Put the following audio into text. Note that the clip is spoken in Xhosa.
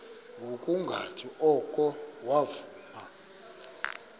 ngokungathi oko wavuma